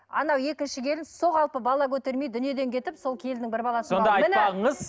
анау екінші келін сол қалпы бала көтермей дүниеден кетіп сол келіннің бір сонда айтпағыңыз